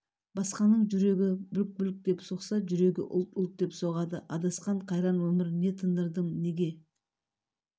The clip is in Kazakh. басқаның жүрегң бүлк-бүлк деп соқса жүрегі ұлт-ұлт деп соғады адасқан қайран өмір не тындырдым неге